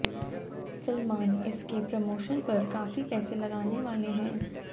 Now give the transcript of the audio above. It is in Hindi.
सलमान इसके प्रमोशन पर काफी पैसे लगाने वाले हैं